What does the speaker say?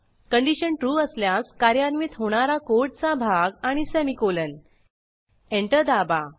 condition true असल्यास कार्यान्वित होणारा कोडचा भाग आणि सेमीकोलन एंटर दाबा